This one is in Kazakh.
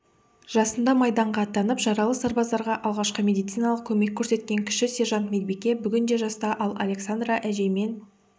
жасында майданға аттанып жаралы сарбаздарға алғашқы медициналық көмек көрсеткен кіші сержант-медбике бүгінде жаста ал александра әжеймен